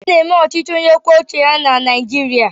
A na-eme ọchịchị onye kwuo uche ya na Naijiria.